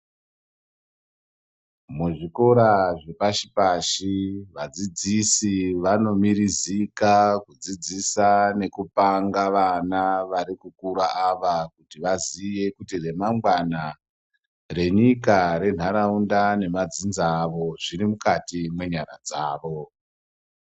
Muzvikora zvepashi pashi vadzidzisi vanomirizika kudzidzisa nekupanga vana varikukura ava kuti vazive kuti remangwana renyika, renharaunda nedzinza ravo zvirimukati mwenyara dzavo.